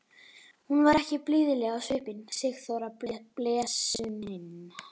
Hún var ekki blíðleg á svipinn, Sigþóra blessunin!